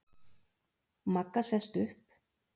Magga sest upp.